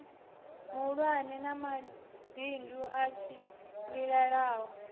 mahulwane na mabindu a tshimbilelanaho